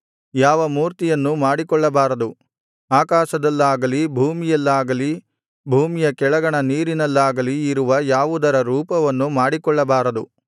ಯಾವ ಮೂರ್ತಿಯನ್ನೂ ಮಾಡಿಕೊಳ್ಳಬಾರದು ಆಕಾಶದಲ್ಲಾಗಲಿ ಭೂಮಿಯಲ್ಲಾಗಲಿ ಭೂಮಿಯ ಕೆಳಗಣ ನೀರಿನಲ್ಲಾಗಲಿ ಇರುವ ಯಾವುದರ ರೂಪವನ್ನೂ ಮಾಡಿಕೊಳ್ಳಬಾರದು